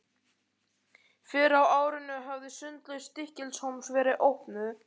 Fyrr á árinu hafði Sundlaug Stykkishólms verið opnuð.